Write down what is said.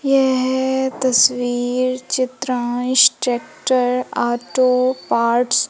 यह तस्वीर Chitransh tractor auto parts --